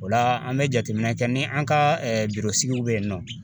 O la an bɛ jateminɛ kɛ ni an ka sigiw bɛ yen nɔ.